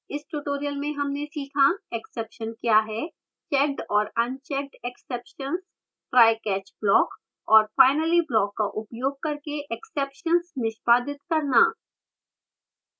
इस tutorial में हमने सीखा: exception क्या है checked और unchecked exceptions trycatch block और finally block का उपयोग करके exceptions निष्पादित करना